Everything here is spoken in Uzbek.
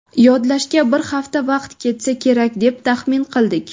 Yodlashga bir hafta vaqt ketsa kerak, deb taxmin qildik.